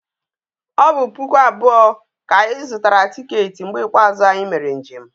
O bu puku abuo ka anyi zutara ticket mgbe ikpeazu anyi mere njem